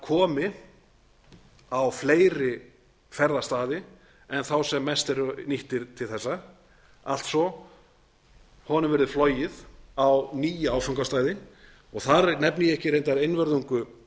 komi á fleiri ferðastaði en þá sem mest eru nýttir til þessa alltsvo honum verði flogið á nýja áfangastaði þar nefni ég ekki reyndar einvörðungu